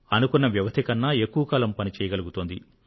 అనుకున్న వ్యవధి కన్నా ఎక్కువ కాలం పని చేయగలుగుతోంది